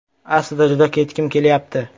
Aslida juda ketgim kelyapti.